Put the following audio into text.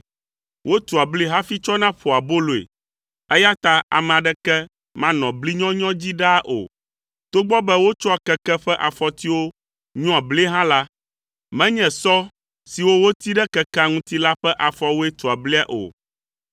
Wotua bli hafi tsɔna ƒoa aboloe, eya ta ame aɖeke manɔ bli nyɔnyɔ dzi ɖaa o. Togbɔ be wotsɔa keke ƒe afɔtiwo nyɔa blie hã la, menye sɔ siwo woti ɖe kekea ŋuti la ƒe afɔwoe tua blia o.